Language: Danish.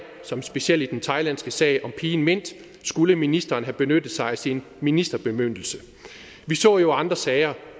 som specielt den thailandske sag om pigen mint skulle ministeren have benyttet sig af sin ministerbemyndigelse vi så jo i andre sager